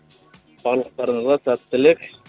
барлықтарыңызға сәттілік